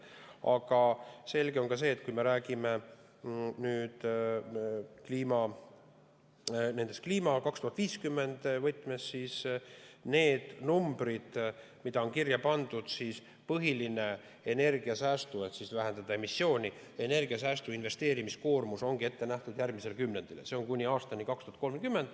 Aga selge on see, et kui me räägime nüüd kliima 2050 võtmes, nendest numbritest, mis on kirja pandud, et vähendada emissiooni, siis energiasäästu investeerimiskoormus ongi ette nähtud järgmisel kümnendil, kuni aastani 2030.